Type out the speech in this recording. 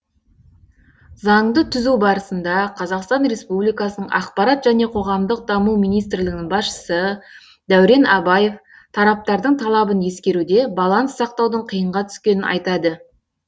заңды түзу барысында қазақстан республикасының ақпарат және қоғамдық даму министрлігінің басшысы дәурен абаев тараптардың талабын ескеруде баланс сақтаудың қиынға түскенін айтады